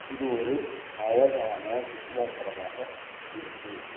இது ஒரு அழகான சுற்றுலாத்தலமாக இருக்கு.